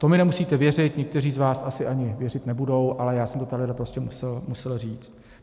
To mi nemusíte věřit, někteří z vás asi ani věřit nebudou, ale já jsem to tady prostě musel říct.